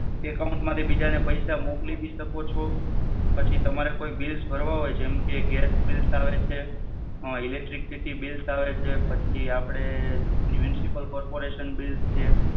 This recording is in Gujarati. account માંથી બીજાને પૈસા મોકલી ભી શકો છો, પછી તમારે કોઈ bills ભરવા હોય જેમકે gas bills આવે છે, electricity bills આવે છે, પછી આપડે municipal corporation bills છે.